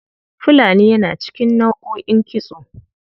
Fulani yana cikin nau'o'in kitso.